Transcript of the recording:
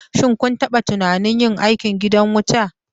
Shin kun taɓa tunanin yin aiki a gidan wuta?